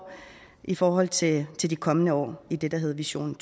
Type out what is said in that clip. i forhold til til de kommende år i det der hedder vision